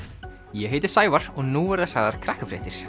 ég heiti Sævar og nú verða sagðar